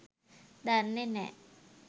දන්නෙ නෑ.